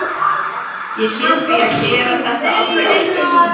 Ég hét því að gera þetta aldrei aftur.